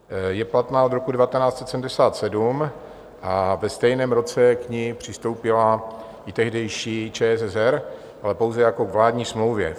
Je platná od roku 1977 a ve stejném roce k ní přistoupila i tehdejší ČSSR, ale pouze jako k vládní smlouvě.